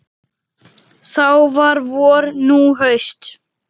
Þá var vor, nú haust.